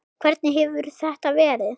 Hvernig hefur þetta verið?